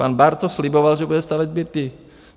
Pan Bartoš sliboval, že bude stavět byty.